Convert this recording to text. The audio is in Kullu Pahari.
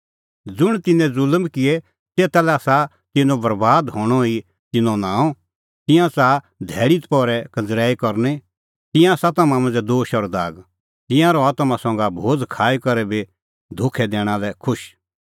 ज़ुंण तिन्नैं ज़ुल्म किऐ तेता लै आसा तिन्नों बरैबाद हणअ ई तिन्नों नांम तिंयां च़ाहा धैल़ी दपहरै कंज़रैई करनी तिंयां आसा तम्हां मांझ़ै दोश और दाग तिंयां रहा तम्हां संघै भोज़ खाई करै बी धोखै दैणा लै खुश